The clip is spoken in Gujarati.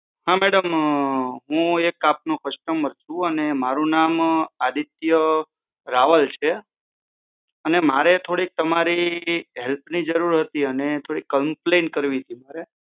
હા મેડમ હું એક આપનો કસ્ટમર છું અને મારું નામ આદિત્ય રાવલ છે અને મારે થોડીક તમારી હેલ્પની જરૂર હતી અને થોડીક કમ્પ્લેન કરવી હતી મારે